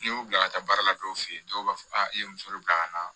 N'i y'u bila ka taa baara la dɔw fɛ yen dɔw b'a fɔ a ye muso de bila ka na